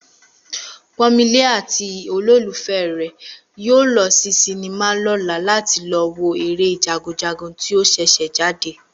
Pọ́nmilé àti olólùfẹ́ rè yóò lọ sí sinimá lọ́la láti lọ wo eré Jagunjagun tí ó ṣẹ̀ṣẹ̀ jáde